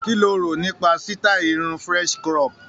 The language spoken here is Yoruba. Kí lo rò nípa sítáì french crop?